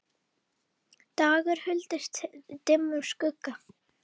dagur huldist dimmum skugga